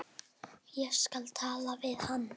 Ég skal tala við Hannes.